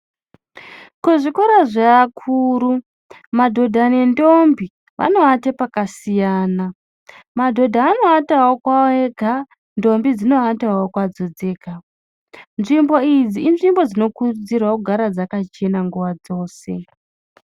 Kuzvikoro zveakuru, madhodha nendombi, vanoate pakasiyana. Madhodha anoatawo kwawo ega, ndombi dzinoatawo kwadzo dzega. Nzvimbo idzi, inzvimbo dzinokurudzirwa kugara dzakachena nguva dzose.